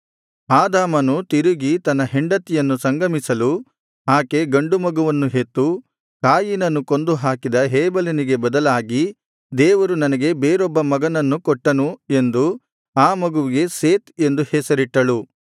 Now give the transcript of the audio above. ಆದಾಮನು ತಿರುಗಿ ತನ್ನ ಹೆಂಡತಿಯನ್ನು ಸಂಗಮಿಸಲು ಆಕೆ ಗಂಡು ಮಗುವನ್ನು ಹೆತ್ತು ಕಾಯಿನನು ಕೊಂದು ಹಾಕಿದ ಹೇಬೆಲನಿಗೆ ಬದಲಾಗಿ ದೇವರು ನನಗೆ ಬೇರೊಬ್ಬ ಮಗನನ್ನು ಕೊಟ್ಟನು ಎಂದು ಆ ಮಗುವಿಗೆ ಸೇತ್ ಎಂದು ಹೆಸರಿಟ್ಟಳು